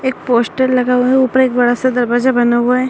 एक पोस्टर लगा हुआ है ऊपर एक बड़ा सा दरवाजा बना हुआ है।